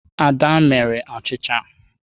Ada mere achịcha.